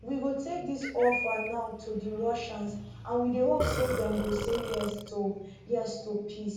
we go take dis offer now to di russians and we dey hope say dem go say yes to yes to peace